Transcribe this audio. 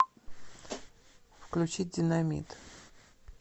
включить динамит